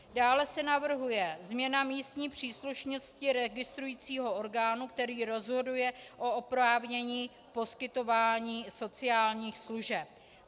Dále se navrhuje změna místní příslušnosti registrujícího orgánu, který rozhoduje o oprávnění poskytování sociálních služeb.